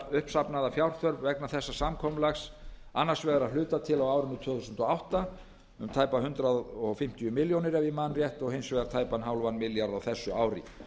uppsafnaða fjárþörf vegna þessa samkomulag annars vegar að hluta til á árinu tvö þúsund og átta um tæpar hundrað fimmtíu milljónir ef ég man rétt og hins vegar tæpan hálfan milljarð á þessu ári